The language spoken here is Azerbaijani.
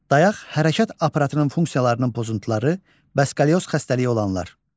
Dayaq hərəkət aparatının funksiyalarının pozuntuları, skalyoz xəstəliyi olanlar.